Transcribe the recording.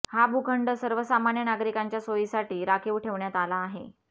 हा भूखंड सर्वसामान्य नागरिकांच्या सोयीसाठी राखीव ठेवण्यात आला आहे